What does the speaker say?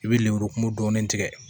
I bɛ lemuru kumun dɔɔnin